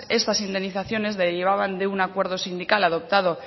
estas indemnizaciones derivaban de un acuerdo sindical adoptado